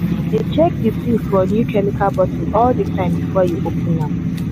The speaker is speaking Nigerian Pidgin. dey check the seal for new chemical bottle all the time before you open am.